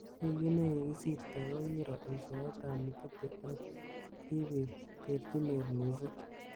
Wikit nekisirtoi kokiro eshoet ab Mugithi ak kibit terjinet missing.